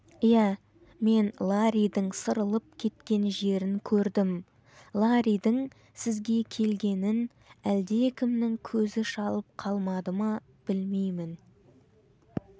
иә мен ларридің сырылып кеткен жерін көрдім ларридің сізге келгенін әледкімнің көзі шалып қалмады ма білмеймін